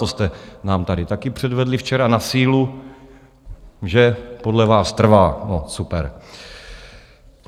To jste nám tady taky předvedli včera na sílu, že podle vás trvá, no super.